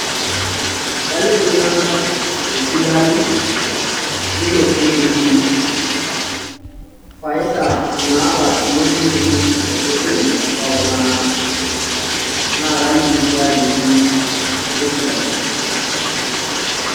Kaliki iltunganak esidano, ilo singiri faida naata ilo singiri tosesen lotungana, na kaliki sii ajoki keisidai.